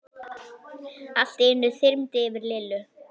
Allt í einu þyrmdi yfir Lillu.